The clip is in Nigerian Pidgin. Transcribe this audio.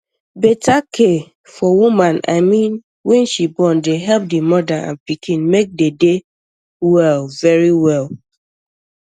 beta care for woman i mean wen she born de help di moda and pikin make dey dey well verywell